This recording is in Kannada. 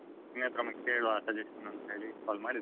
ನಿನ್ನತ್ರ ಒಮ್ಮೆ ಕೇಳ್ವ suggestion ಅಂತ್ ಹೇಳಿ call ಮಾಡಿದ್ದು.